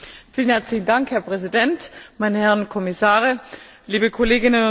Herr Präsident, meine Herren Kommissare, liebe Kolleginnen und Kollegen!